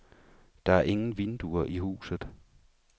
Der er ingen vinduer i huset.